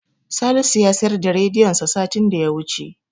Salisu ya siyar da rediyonsa satin da ya wuce.